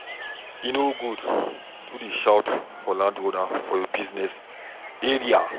E no good to dey shout for landowner for your business area.